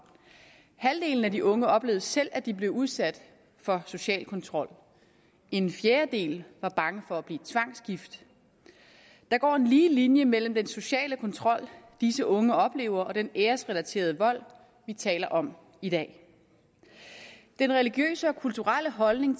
halvdelen af de unge oplevede selv at de blev udsat for social kontrol en fjerdedel var bange for at blive tvangsgift der går en lige linje mellem den sociale kontrol disse unge oplever og den æresrelaterede vold vi taler om i dag den religiøse og kulturelle holdning